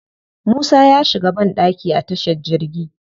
Musa ya shiga banɗaki a tashar jirgi.